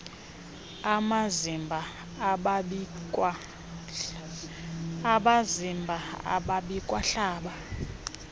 amazimba ababikwa hlaba